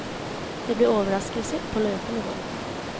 Det blir overraskelser på løpende bånd.